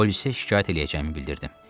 polisə şikayət eləyəcəyimi bildirdim.